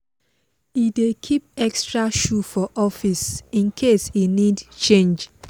he dey keep extra shoe for office in case e need change